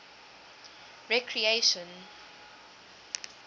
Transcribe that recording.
recreation